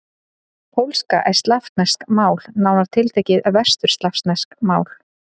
Pólska er slavneskt mál, nánar tiltekið vesturslavneskt mál.